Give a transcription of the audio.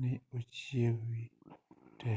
ni ochiewi te